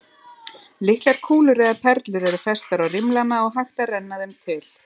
Litlar kúlur eða perlur eru festar á rimlana og hægt að renna þeim til.